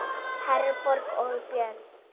Herborg og Björn.